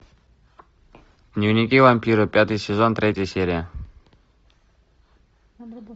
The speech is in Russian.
дневники вампира пятый сезон третья серия